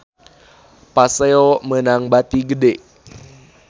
Paseo meunang bati gede